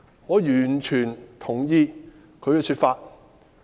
我完全同意他的說法。